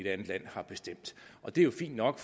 andet land har bestemt det er jo fint nok